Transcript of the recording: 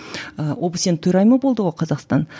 ы обсе нің төрайымы болды ғой қазақстан